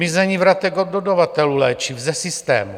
Mizení vratek od dodavatelů léčiv ze systémů.